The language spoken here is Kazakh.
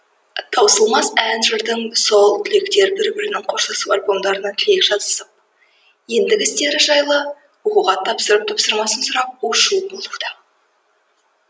таусылмас ән жырдан соң түлектер бір бірінің қоштасу альбомдарына тілек жазысып ендігі істері жайлы оқуға тапсырар тапсырмасын сұрап у шу болуда